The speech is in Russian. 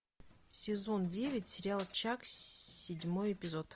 сезон девять сериал чак седьмой эпизод